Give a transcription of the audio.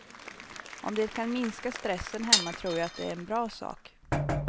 Om det kan minska stressen hemma tror jag att det är en bra sak.